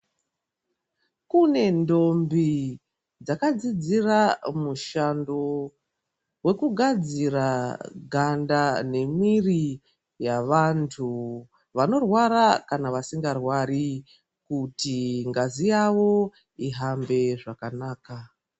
Kune ntombi dzakadzidzira mushando wekugafzira ganda nemwiri yavantu vanorwara kana vasingarwari kuti ngazi yavo ihambe zvakanaka.